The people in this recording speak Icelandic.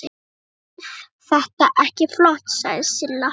Eð þetta ekki flott? sagði Silla.